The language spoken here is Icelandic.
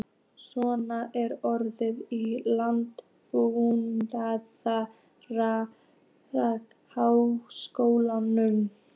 Sossa, er opið í Landbúnaðarháskólanum?